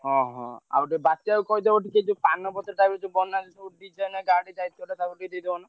ହଁ ହଁ ଆଉ ଯୋଉ ବାତ୍ୟାକୁ କହିଦିବ ଟିକେ ଯୋଉ ପାନପତ୍ରଟା ଗୋଟେ ବନାନ୍ତି ଗାଡି ।